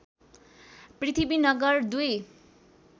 Prithvinagar २